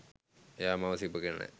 එයා මාව සිපගෙන නෑ.